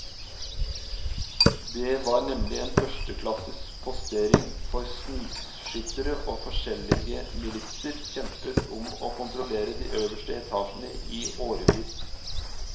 Det var nemlig en førsteklasses postering for snikskyttere, og forskjellige militser kjempet om å kontrollere de øverste etasjene i årevis.